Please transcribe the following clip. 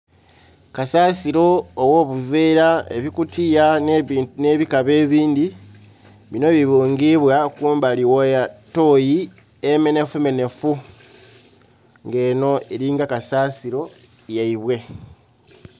Kasaasiro ogh'obuveera, ebikutiya n'ebikaba ebindhi. Binho bibungibwa kumbali gh'etooyi emenhefumenhefu. Nga eno elinga kasaasiro yaibwe.